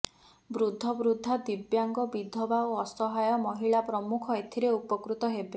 ବୃଦ୍ଧବୃଦ୍ଧା ଦିବ୍ୟାଙ୍ଗ ବିଧବା ଓ ଅସହାୟ ମହିଳା ପ୍ରମୁଖ ଏଥିରେ ଉପକୃତ ହେବେ